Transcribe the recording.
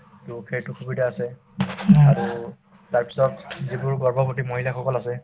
to সেইটো সুবিধা আছে আৰু তাৰপিছত যিবোৰ গৰ্ভৱতী মহিলাসকল আছে